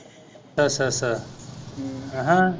ਅੱਛਾ ਅੱਛਾ ਅੱਛਾ ਅਹ